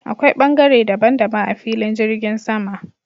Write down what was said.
Akwai ɓangare daban daban a filin jirgin sama.